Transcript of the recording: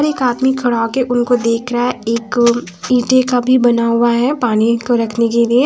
एक आदमी खड़ा होके उनको देख रहा है एक इटे का भी बना हुआ है पानी को रखने के लिए --